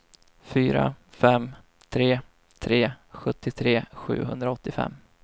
fyra fem tre tre sjuttiotre sjuhundraåttiofem